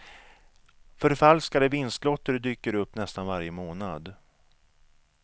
Förfalskade vinstlotter dyker upp nästan varje månad.